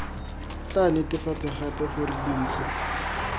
tla netefatsa gape gore dintlha